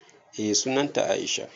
Eh sunan ta Aisha.